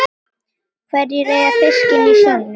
Hverjir eiga fiskinn í sjónum?